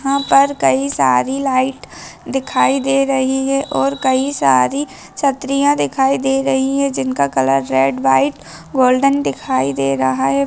यहां पर कई सारी लाइट दिखाई दे रही है और कई सारी छतरियां दिखाई दे रही है जिनका कलर रेड व्हाइट गोल्डन दिखाई दे रहा है।